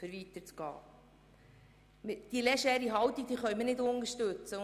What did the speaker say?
Diese legere Haltung können wir nicht unterstützen.